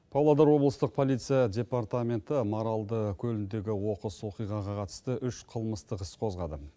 павлодар облыстық полиция департаменті маралды көліндегі оқыс оқиғаға қатысты үш қылмыстық іс қозғады